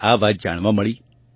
તેમને આ વાત જાણવા મળી